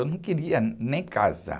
Eu não queria nem casar.